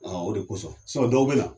O de kosɔn. dɔw bɛ na